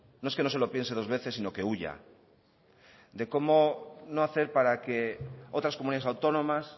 no es que no se lo piense dos veces sino que huya de cómo no hacer para que otras comunidades autónomas